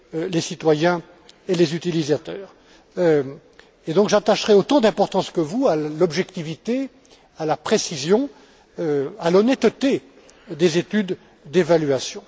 les citoyens et les utilisateurs. J'attacherai autant d'importance que vous à l'objectivité, à la précision, à l'honnêteté des études d'évaluation.